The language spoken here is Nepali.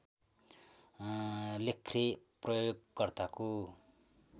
लेख्ने प्रयोगकर्ताको